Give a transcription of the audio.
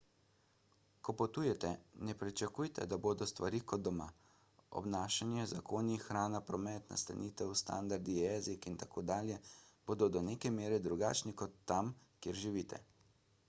ko potujete ne pričakujte da bodo stvari kot doma obnašanje zakoni hrana promet nastanitev standardi jezik in tako dalje bodo do neke mere drugačni kot tam kjer živite